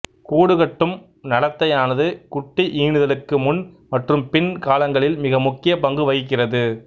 கூடு கட்டும் நடத்தையானது குட்டி ஈனுதலுக்கு முன் மற்றும் பின் காலங்களில் மிக முக்கிய பங்கு வகிக்கிறது